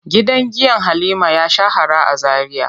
Gidan giya Halima ya shahara a Zaria.